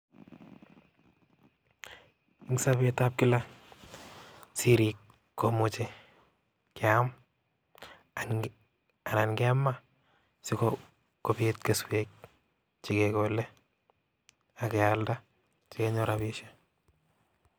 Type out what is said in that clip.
En sobetab kila, sirii komuche keam anan kemaa sikoniit keswek chekekole ak kealda sikenyor rabishek